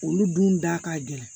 Olu dun da ka gɛlɛn